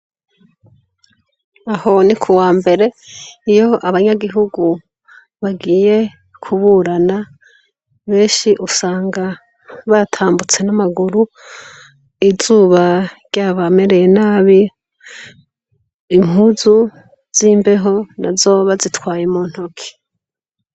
Aho ni kuwa mbere, iyo abanyagihugu bagiye kuburana, benshi usanga batambutse n'amaguru, izuba ryabamereye nabi, impuzu z'imbeho nazo bazitwaye mu ntoke.